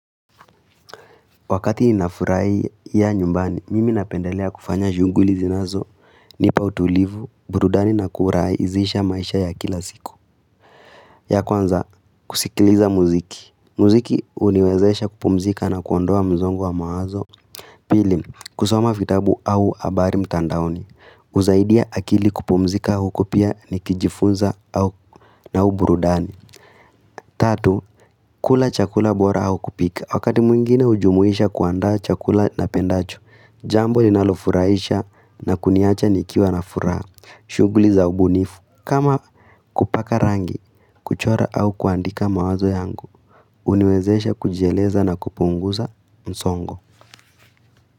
Wakati inafurahia nyumbani, mimi napendelea kufanya shughuli zinazo, nipa utulivu, burudani na kurahisisha maisha ya kila siku ya kwanza, kusikiliza muziki muziki uniwezesha kupumzika na kuondoa msongo wa mawazo Pili, kusoma vitabu au habari mtandaoni usaidia akili kupumzika au kupia ni kijifunza au na u burudani Tatu, kula chakula bora au kupika Wakati mwingine ujumuisha kuandaa chakula na pendacho Jambo linalofurahisha na kuniacha nikiwa na furaha, shughuli za ubunifu, kama kupaka rangi, kuchora au kuandika mawazo yangu, uniwezesha kujieleza na kupunguza msongo.